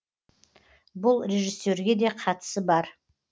бұл режиссерге де қатысы бар